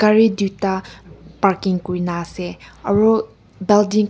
gari tuita parking kurina ase aro building khan--